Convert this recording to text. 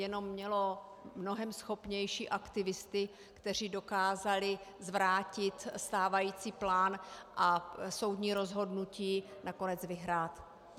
Jenom mělo mnohem schopnější aktivisty, kteří dokázali zvrátit stávající plán a soudní rozhodnutí nakonec vyhrát.